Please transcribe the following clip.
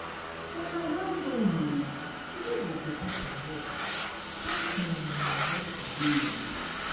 una well done oo today go better for us pass um yesterday um. um